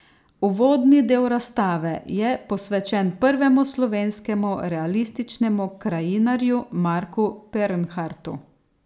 Uvodni del razstave je posvečen prvemu slovenskemu realističnemu krajinarju Marku Pernhartu.